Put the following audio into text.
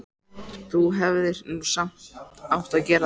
Þú hefðir nú samt átt að gera það.